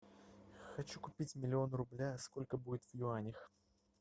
хочу купить миллион рубля сколько будет в юанях